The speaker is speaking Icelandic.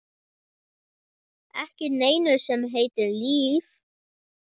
Ekki neinu sem heitir líf.